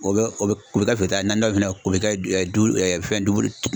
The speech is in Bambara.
O bɛ o bɛ u bɛ kɛ feere ta ye, naani dɔ ni fana,u bɛ kɛ dumuni fɛn dumun